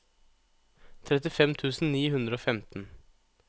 trettifem tusen ni hundre og femten